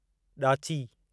ॾाची